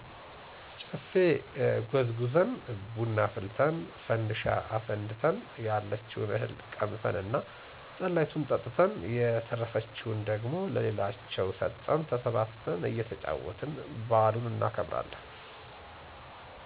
ጨፌ ጎዝጉዘን፣ ብና አፍልተን፣ ፈንድሻ አፈንድተን፣ ያለችውን እህል ቀምሰን እና ጠላይቱን ጠጥተን የተረፈችውን ደግሞ ለሌላቸው ሰጠን ተሰብስበን እየተጫወትን በዓሉን እናከብራለን።